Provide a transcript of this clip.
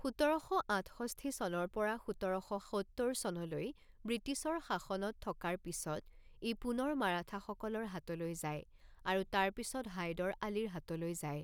সোতৰশ আঠষষ্ঠি চনৰ পৰা সোতৰশ সত্তৰ চনলৈ ব্ৰিটিছৰ শাসনত থকাৰ পিছত, ই পুনৰ মাৰাঠাসকলৰ হাতলৈ যায় আৰু তাৰ পিছত হায়দৰ আলীৰ হাতলৈ যায়।